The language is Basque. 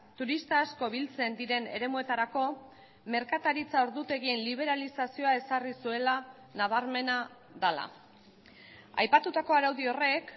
turista asko biltzen diren eremuetarako merkataritza ordutegien liberalizazioa ezarri zuela nabarmena dela aipatutako araudi horrek